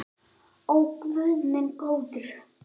Ó guð minn góður.